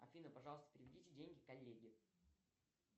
афина пожалуйста переведите деньги коллеге